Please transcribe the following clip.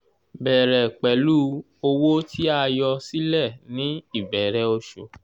bẹ̀rẹ̀ pẹ̀lú owó tí a yọ sílẹ̀ ní ìbẹ̀rẹ̀ oṣù.